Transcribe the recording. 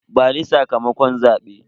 Bani sakamakon zabe.